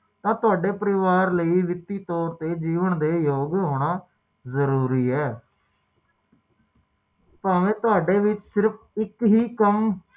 ਤਾਰੀਕ ਦਾ ਕਿਸੇ ਨੂੰ ਨਹੀਂ ਪਤਾ ਹੁੰਦਾ ਕਿਉਕਿ